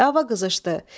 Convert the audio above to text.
Dava qızışdı.